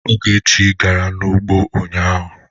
Ogechi gara n'ugbo ụnyaahụ?